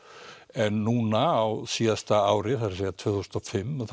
en núna á síðasta ári það er að segja tvö þúsund og fimm